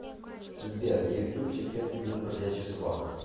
сбер ютюб секрет блюз бродячих собак